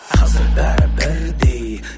қазір бәрі бірдей